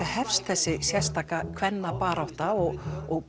hefst þessi kvennabarátta og